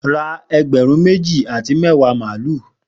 Ra egberun meji ati mẹwa malu!